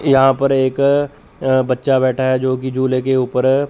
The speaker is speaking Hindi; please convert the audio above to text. यहां पर एक अह बच्चा बैठा है जो कि झूले के ऊपर--